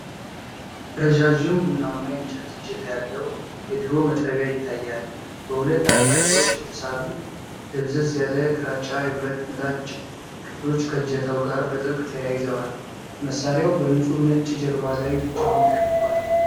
ረዣዥም ቡናማ የእንጨት እጀታ ያለው የድሮ መጥረቢያ ይታያል። በሁለት አቅጣጫዎች የተሳሉ ደብዘዝ ያለ ግራጫ የብረት ምላጭ ክፍሎች ከእጀታው ጋር በጥብቅ ተያይዘዋል። መሣሪያው በንጹህ ነጭ ጀርባ ላይ ብቻውን ተቀምጧል።